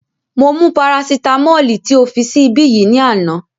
Mo mú parasitamọ́ọ̀lì tí o fi sí ibí yìí ní àná